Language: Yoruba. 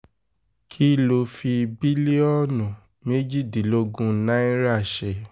kí ló fi bílíọ̀nù méjìdínlógún náírà ṣe